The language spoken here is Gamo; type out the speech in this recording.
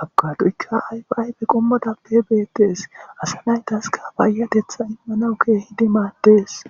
abokadoyka ayfa ayfe qomotappe betes, asa naytaska payatetha imanawu keehidi madesi.